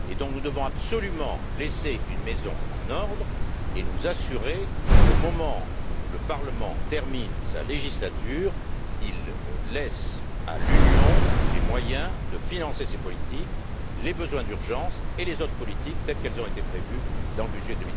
Par conséquent, nous devons absolument laisser une maison en ordre et nous assurer qu'au moment où le Parlement termine sa législature, il laisse à l'Union les moyens de financer ses politiques, les besoins d'urgence et les autres politiques telles qu'elles ont été prévues dans le budget